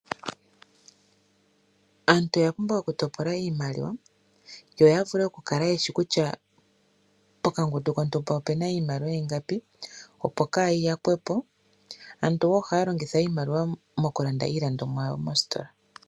Aantu oya pumbwa oku topola iimaliwa, yavulu oku kala yeshi kutya pokangundu kotumba opuna iimaliwa ingapi opo kayi yakwepo. Aantu ohaya longitha iimaliwa oku landa iilandomwa yawo moostola.